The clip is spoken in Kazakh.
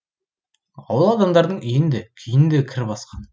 ауыл адамдарының үйін де күйін де кір басқан